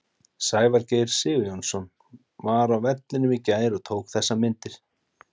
Sævar Geir Sigurjónsson var á vellinum í gær og tók þessar myndir.